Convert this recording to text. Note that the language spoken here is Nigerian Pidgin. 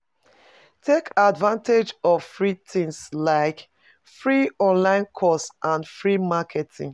Take advantage of free things like, free online course and free marketing